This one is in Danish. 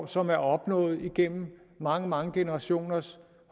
som er opnået gennem mange mange generationers